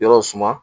Yɔrɔ suma